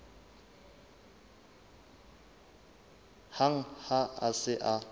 hang ha a se a